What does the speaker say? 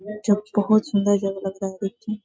जो बहुत सुन्दर जगह लग रहा है देखने में।